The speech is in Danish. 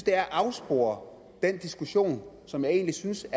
er at afspore den diskussion som jeg egentlig synes